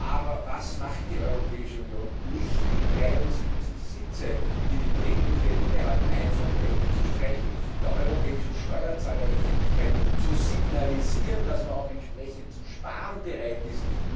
Aber was macht die Europäische Union? Nicht die 73 Sitze, die die Briten hier innehatten, einfach wegzustreichen, der europäischen Steuerzahleröffentlichkeit zu signalisieren, dass man auch entsprechend zu sparen bereit ist.